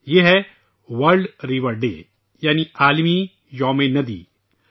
یہ ہے 'world river day' ہے یعنی 'ندیوں کا عالمی دن '